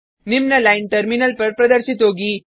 निम्न line terminal पर प्रदर्शित होगी